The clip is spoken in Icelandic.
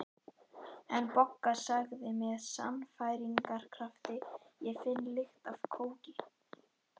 En Bogga sagði með sannfæringarkrafti: Ég finn lykt af kóki